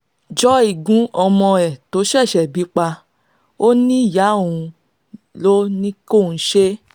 joy gún ọmọ ẹ̀ tó ṣẹ̀ṣẹ̀ bí pa ọ́ níyàá òun ló ní kóun ṣe bẹ́ẹ̀